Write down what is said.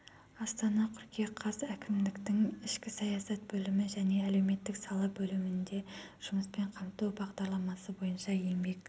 астана қыркүйек қаз әкімдіктің ішкі саясат бөлімі және әлеуметтік сала бөлімінде жұмыспен қамту бағдарламасы бойынша еңбек